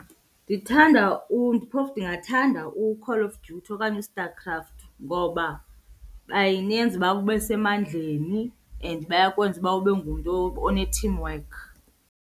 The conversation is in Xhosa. Ndithanda phofu ndingathanda uCall of Duty okanye uStarCraft ngoba banenza uba ube semandleni and bayakwenza uba ube ngumntu one-teamwork.